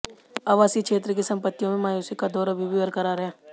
आवासीय क्षेत्र की संपत्तियों में मायूसी का दौर अभी भी बरकरार है